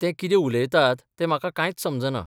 ते कितें उलयतात तें म्हाका कांयच समजना.